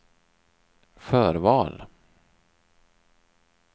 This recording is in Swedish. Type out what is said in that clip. förval